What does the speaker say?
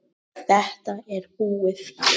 Þetta er búið.